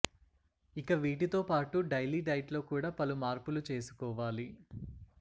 ఇక వీటితో పాటు డైలీ డైట్లో కూడా పలు మార్పులు చేసుకోవాలి